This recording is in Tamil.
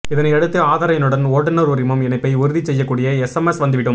இதனையடுத்து ஆதார் எண்ணுடன் ஓட்டுநர் உரிமம் இணைப்பை உறுதி செய்யக்கூடிய எஸ்எம்எஸ் வந்துவிடும்